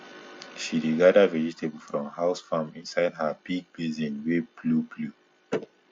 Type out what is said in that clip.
she dey gather vegetable from house farm inside her big basin wey blue blue